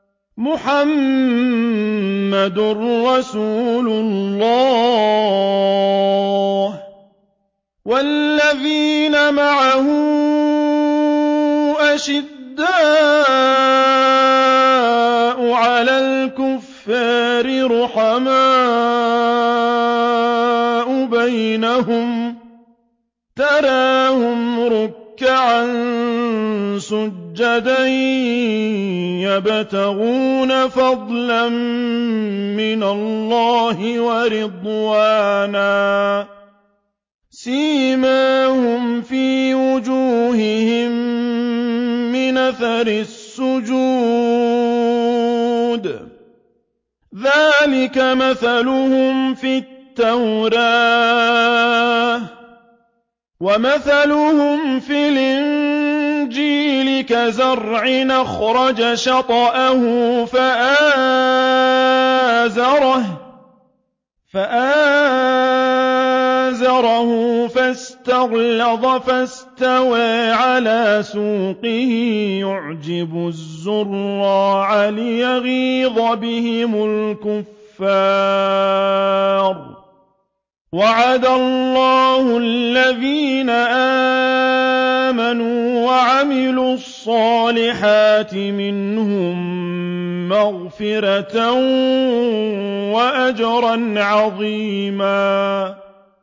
مُّحَمَّدٌ رَّسُولُ اللَّهِ ۚ وَالَّذِينَ مَعَهُ أَشِدَّاءُ عَلَى الْكُفَّارِ رُحَمَاءُ بَيْنَهُمْ ۖ تَرَاهُمْ رُكَّعًا سُجَّدًا يَبْتَغُونَ فَضْلًا مِّنَ اللَّهِ وَرِضْوَانًا ۖ سِيمَاهُمْ فِي وُجُوهِهِم مِّنْ أَثَرِ السُّجُودِ ۚ ذَٰلِكَ مَثَلُهُمْ فِي التَّوْرَاةِ ۚ وَمَثَلُهُمْ فِي الْإِنجِيلِ كَزَرْعٍ أَخْرَجَ شَطْأَهُ فَآزَرَهُ فَاسْتَغْلَظَ فَاسْتَوَىٰ عَلَىٰ سُوقِهِ يُعْجِبُ الزُّرَّاعَ لِيَغِيظَ بِهِمُ الْكُفَّارَ ۗ وَعَدَ اللَّهُ الَّذِينَ آمَنُوا وَعَمِلُوا الصَّالِحَاتِ مِنْهُم مَّغْفِرَةً وَأَجْرًا عَظِيمًا